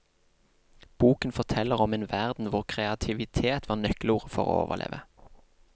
Boken forteller om en verden hvor kreativitet var nøkkelordet for å overleve.